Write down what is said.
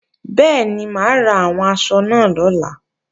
Bẹ́ẹ̀ni, mà á ra àwọn aṣọ náà lọ́la